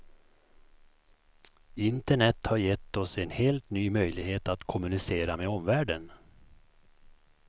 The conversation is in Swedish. Internet har gett oss en helt ny möjlighet att kommunicera med omvärlden.